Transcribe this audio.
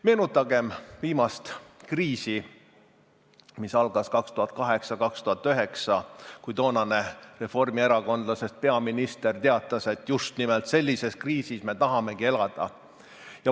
Meenutagem viimast kriisi, mis algas 2008 ja 2009, kui toonane reformierakondlasest peaminister teatas, et just nimelt sellises kriisis me tahamegi elada.